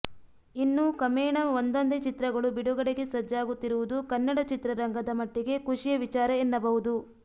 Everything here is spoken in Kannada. ಇನ್ನು ಕಮೇಣ ಒಂದೊಂದೇ ಚಿತ್ರಗಳು ಬಿಡುಗಡೆಗೆ ಸಜ್ಜಾಗುತ್ತಿರುವುದು ಕನ್ನಡ ಚಿತ್ರರಂಗದ ಮಟ್ಟಿಗೆ ಖುಷಿಯ ವಿಚಾರ ಎನ್ನಬಹುದು